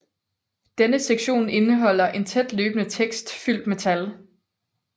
Denne sektion indeholder en tæt løbende tekst fyldt med tal